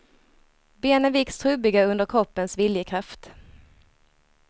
Benen viks trubbiga under kroppens viljekraft.